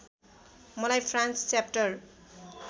मलाई France chapter